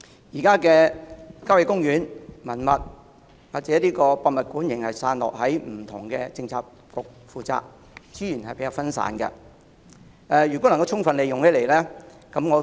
現時，郊野公園、文物及博物館仍然散落由不同的政策局負責，資源比較分散，如能充分利用，我認為情況會更好。